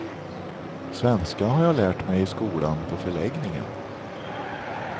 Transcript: Svenska har jag lärt mig i skolan på förläggningen.